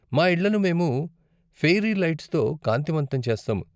మా ఇళ్ళను మేము ఫెయిరీ లైట్స్తో కాంతివంతం చేస్తాం.